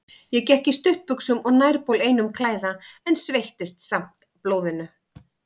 Ég gekk í stuttbuxum og nærbol einum klæða, en sveittist samt blóðinu.